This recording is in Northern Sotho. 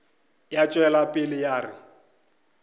ya tšwela pele ya re